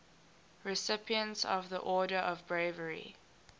recipients of the order of bravery